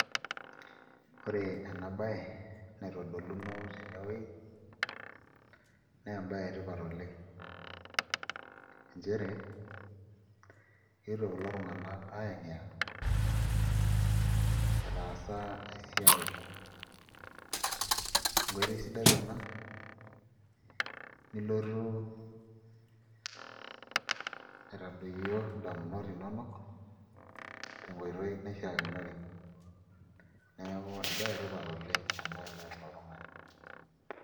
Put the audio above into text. Ore ena baye naitodoluno tenewueji naa embaye etipat oleng' nchere eetuo kulo tung'anak aayang'iyang'a etaasa esiai enkoitoi sidai ena nilotu aitadoyio ndamunot inonok tenkoitoi naishiakinore neeku embaye etipat oleng' ena tenees oltung'ani.